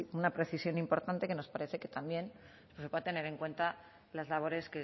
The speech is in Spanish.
una precisión importante que nos parece que también se puedan tener en cuenta las labores